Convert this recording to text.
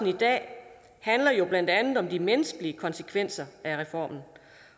i dag handler jo blandt andet om de menneskelige konsekvenser af reformen